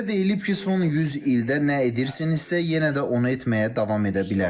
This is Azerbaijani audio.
Bizə deyilib ki, son 100 ildə nə edirsinizsə, yenə də onu etməyə davam edə bilərsiniz.